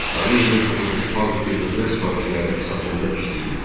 Tağıyevin toxuculuq fabriki dövlət sifarişləri əsasında işləyirdi.